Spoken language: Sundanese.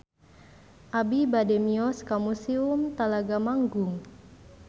Abi bade mios ka Museum Talaga Manggung